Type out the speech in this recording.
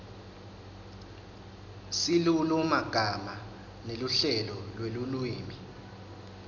silulumagama neluhlelo lwelulwimi